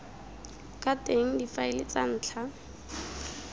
ka teng difaele tsa ntlha